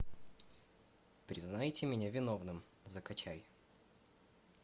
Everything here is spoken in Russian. признайте меня виновным закачай